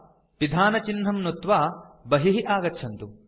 अनन्तरं पिधानस्य चिह्नं नुत्वा बहिः आगच्छन्तु